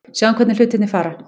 Sjáum hvernig hlutirnir fara.